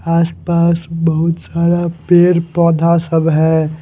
आसपास बहुत सारा पेड़ पौधा सब है।